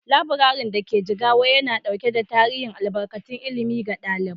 Laburaren da ke Jigawa yana dauke da tarin albarkatun ilimi ga ɗalibai.